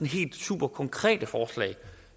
helt superkonkrete forslag